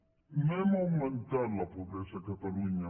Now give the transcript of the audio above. no hem augmentat la pobresa a catalunya